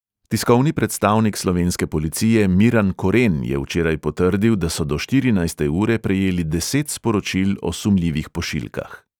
Tiskovni predstavnik slovenske policije miran koren je včeraj potrdil, da so do štirinajste ure prejeli deset sporočil o sumljivih pošiljkah.